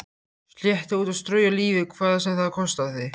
Slétta út og strauja lífið hvað sem það kostaði.